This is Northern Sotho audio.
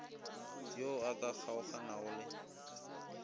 yo a ka kgaoganago le